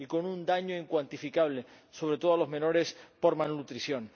y con un daño incuantificable, sobre todo a los menores, por malnutrición.